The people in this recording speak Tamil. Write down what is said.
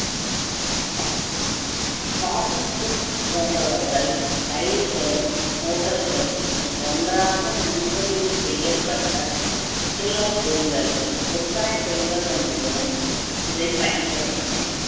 போன்றவர்கள் ரயில்களும் hotel களும் ஒன்றாக முன்பதிவு செய்யப்பட்ட சுற்றுலா விற்பனை செய்வதன் மூலம் இதைப் பயன்படுத்தினர்